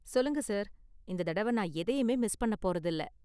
சொல்லுங்க சார், இந்த தடவ நான் எதையுமே மிஸ் பண்ண போறது இல்ல.